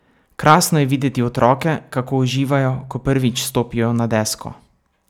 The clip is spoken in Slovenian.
Krasno je videti otroke, kako uživajo, ko prvič stopijo na desko.